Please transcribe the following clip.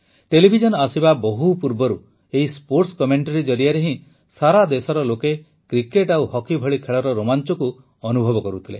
television ଆସିବା ବହୁ ପୂର୍ବରୁ ଏହି ସ୍ପୋର୍ଟ୍ସ କମେଣ୍ଟରୀ ଜରିଆରେ ହିଁ ସାରା ଦେଶର ଲୋକେ କ୍ରିକେଟ ଓ ହକି ଭଳି ଖେଳର ରୋମାଂଚକୁ ଅନୁଭବ କରୁଥିଲେ